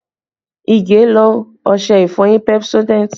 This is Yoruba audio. Ige lo ọṣẹ ìfọyín Pepsodent